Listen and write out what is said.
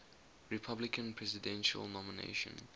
republican presidential nomination